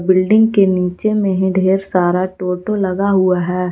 Building के नीचे मे ही ढेर सारा टोटो लगा हुआ है।